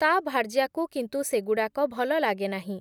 ତା ଭାର୍ଯ୍ୟାକୁ କିନ୍ତୁ ସେଗୁଡ଼ାକ ଭଲ ଲାଗେ ନାହିଁ ।